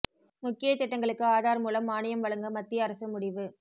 முக்கிய திட்டங்களுக்கு ஆதார் மூலம் மானியம் வழங்க மத்திய அரசு முடிவு